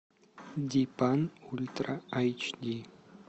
дипан ультра айч ди